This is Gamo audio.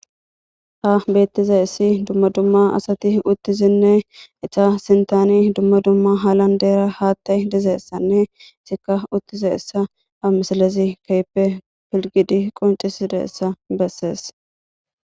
ha beettize issi dumma dumma asati uttizinne eta sintani dumma dumma halan deera haatta dizeessanne sika uttize issa a misalezi keype pilgidi qoncisida essa bessees